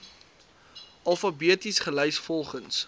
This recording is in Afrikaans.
alfabeties gelys volgens